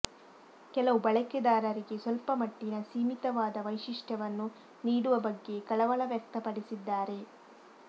ಕೆಲವು ಬಳಕೆದಾರರಿಗೆ ಸ್ವಲ್ಪಮಟ್ಟಿನ ಸೀಮಿತವಾದ ವೈಶಿಷ್ಟ್ಯವನ್ನು ನೀಡುವ ಬಗ್ಗೆ ಕಳವಳ ವ್ಯಕ್ತಪಡಿಸಿದ್ದಾರೆ